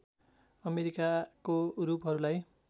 अमेरिकाको रूपहरू लाई